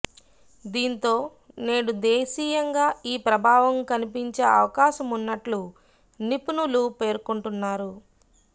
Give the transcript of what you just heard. దీంతో నేడు దేశీయంగా ఈ ప్రభావం కనిపించే అవకాశమున్నట్లు నిపుణులు పేర్కొంటున్నారు